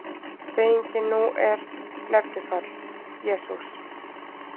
Beygingin nú er: Nefnifall: Jesús